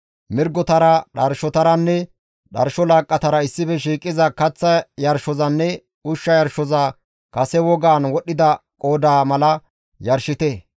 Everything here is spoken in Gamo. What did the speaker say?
Mirgotara, dharshotaranne dharsho laaqqatara issife shiiqiza kaththa yarshozanne ushsha yarshoza kase wogaan wodhdhida qoodaa mala yarshite.